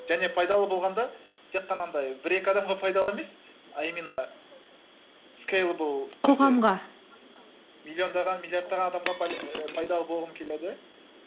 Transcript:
және пайдалы болғанда тек қана андай бір екі адамға пайдалы емес а именно скейлэбл қоғамға миллиондаған миллиардтаған адамға пайдалы болғым келеді